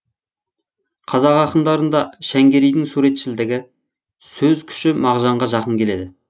қазақ ақындарында шәңгерейдің суретшілдігі сөз күші мағжанға жақын келеді